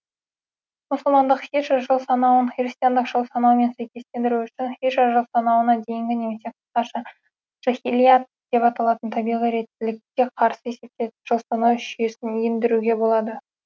мұсылмандық һижра жылсанауын христиандық жылсанаумен сәйкестендіру үшін һижра жылсанауына дейінгі немесе қысқаша жаһиллиат деп аталатын табиғи реттілікке қарсы есептелетін жылсанау жүйесін ендіруге болады